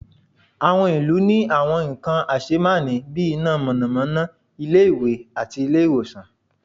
awọn ilu ní àwọn nkan asémàní bí, iná mọnamọna, ilé ìwé, àti ilé ìwòsan